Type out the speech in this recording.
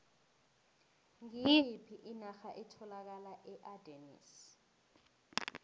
ngiyiphi inarha etholakala eardennes